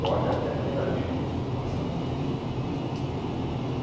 Pode até ter havido isso no passado.